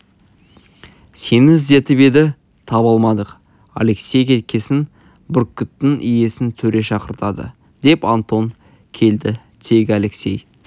сені іздетіп еді таба алмадық алексей кеткесін бүркіттің иесін төре шақыртады деп антон келді тегі алексей